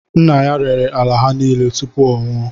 Nna ya rere ala ha nile tupu ọ nwụọ